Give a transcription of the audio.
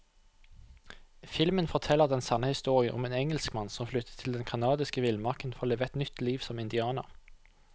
Filmen forteller den sanne historien om en engelskmann som flyttet til den canadiske villmarken for å leve et nytt liv som indianer.